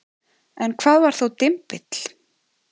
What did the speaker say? En hvað var þá dymbill?